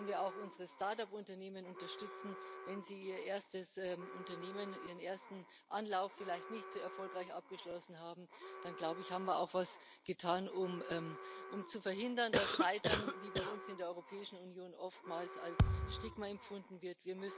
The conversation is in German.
Und wenn wir auch unsere Start up Unternehmen unterstützen, wenn sie ihr erstes Unternehmen, ihren ersten Anlauf vielleicht nicht so erfolgreich abgeschlossen haben, dann haben wir auch etwas getan, um zu verhindern, dass Scheitern wie bei uns in der Europäischen Union oftmals als Stigma empfunden wird.